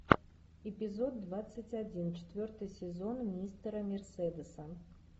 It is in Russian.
эпизод двадцать один четвертый сезон мистера мерседеса